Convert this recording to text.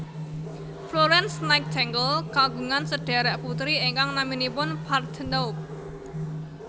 Florence Nightingale kagungan sedhèrèk putri ingkang naminipun Parthenope